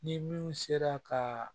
Ni min sera ka